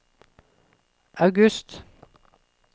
august